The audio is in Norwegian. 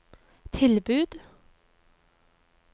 tilbud